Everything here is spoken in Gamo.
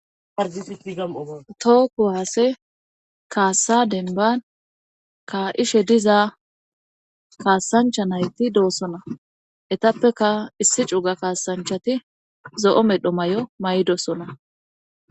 Adiiatooku haase kaassa denban ka7ishe diza kaassancha nayti doossona etappeka issi cuga kaasanchati zo7o medho may7o may7dosona